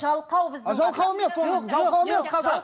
жалқау біздің жалқау емес оның жалқау емес қазақ